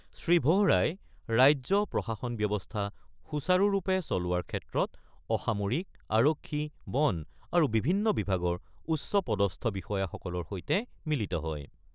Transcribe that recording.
শ্ৰীভোহৰাই ৰাজ্য প্ৰশাসন ব্যৱস্থা সুচাৰুৰূপে চলোৱাৰ ক্ষেত্ৰত অসামৰিক, আৰক্ষী, বন আৰু বিভিন্ন বিভাগৰ উচ্চ পদস্থ বিষয়াসকলৰ সৈতে মিলিত হয়।